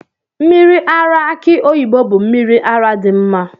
Mmiri ara aki oyibo bụ mmiri ara dị mma.